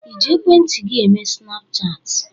Ịji ekwentị gị eme snapchaatị?